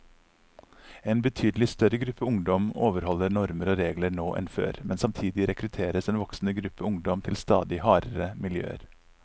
En betydelig større gruppe ungdom overholder normer og regler nå enn før, men samtidig rekrutteres en voksende gruppe ungdom til stadig hardere miljøer.